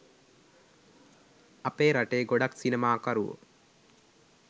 අපේ රටේ ගොඩක් සිනමාකරුවෝ